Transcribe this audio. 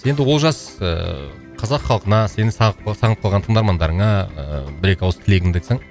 енді олжас ыыы қазақ халқына сені сағынып қалған тыңдармандарыңа ыыы бір екі ауыз тілегеңді айтсаң